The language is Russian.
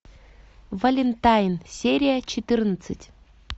валентайн серия четырнадцать